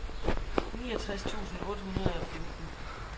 niogtres tusind otte hundrede og femten